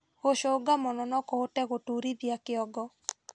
Gũcũnga mũno nokũhote gũtuurithia kĩongo